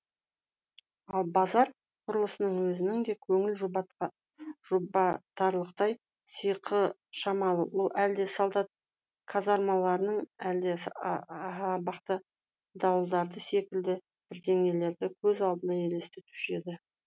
ал базар құрылысының өзінің де көңіл жұбатарлықтай сиқы шамалы ол әлде солдат казармаларын әлде абақты дуалдары секілді бірдеңелерді көз алдыңа елестетуші еді